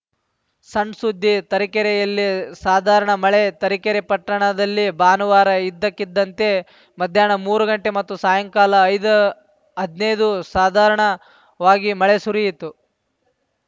ಸಣ್‌ ಸುದ್ದಿ ತರೀಕೆರೆಯಲ್ಲಿ ಸಾಧಾರಣ ಮಳೆ ತರೀಕೆರೆ ಪಟ್ಟಣದಲ್ಲಿ ಭಾನುವಾರ ಇದ್ದಕ್ಕಿದ್ದಂತೆ ಮಧ್ಯಾನ್ನ ಮೂರು ಗಂಟೆ ಮತ್ತು ಸಾಯಂಕಾಲ ಐದು ಹದಿನೈದು ಸಾಧಾರಣವಾಗಿ ಮಳೆ ಸುರಿಯಿತು